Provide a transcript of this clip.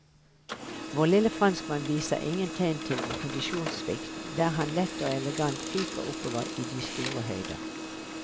Vår lille franskmann viser ingen tegn til kondisjonssvikt der han lett og elegant fyker oppover i de store høyder.